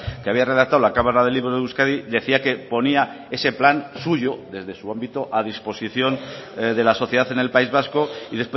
que había redactado la cámara del libro de euskadi decía que ponía ese plan suyo desde su ámbito a disposición de la sociedad en el país vasco y